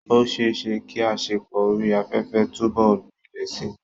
Ó ṣeé ṣe kí àṣepọ̀ orí afẹ́fẹ́ túbọ̀ gbilẹ̀ síi.